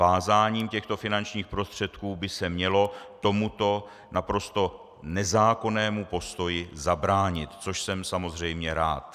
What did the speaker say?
Vázáním těchto finančních prostředků by se mělo tomuto naprosto nezákonnému postoji zabránit, což jsem samozřejmě rád.